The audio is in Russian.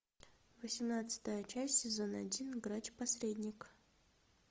восемнадцатая часть сезон один грач посредник